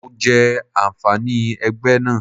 Mo jẹ àǹfààní ẹgbẹ́ náà.